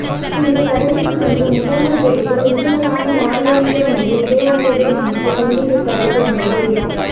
பின்பு கடலுக்குள் சென்று முட்டைகள் பொரிந்து குஞ்சுகளாக மாறவேண்டும் என்று இடையறாது நினைத்துக் கொண்டிப்பதைப் போன்றது